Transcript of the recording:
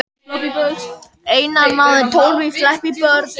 Dýrmundur, hvenær kemur vagn númer þrettán?